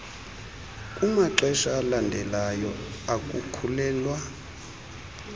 kumaxesha alandelayo okukhulelwa